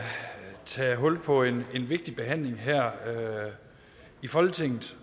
tage hul på en vigtig behandling her i folketinget